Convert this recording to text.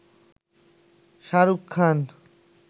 Shahrukh Khan